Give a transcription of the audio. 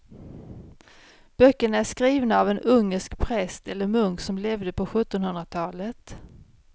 Böckerna är skrivna av en ungersk präst eller munk som levde på sjuttonhundratalet.